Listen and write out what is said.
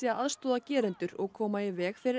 að aðstoða gerendur og koma í veg fyrir